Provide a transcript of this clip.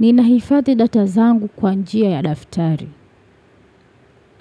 Ninahifadhi data zangu kwa njia ya daftari.